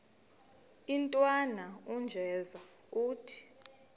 intwana unjeza ithi